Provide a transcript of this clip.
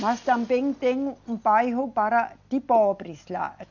Mas também tem um bairro para, de pobres lá.